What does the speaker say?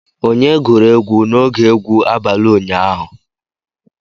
Onye gụrụ egwu n'oge egwu abalị ụnyaahụ?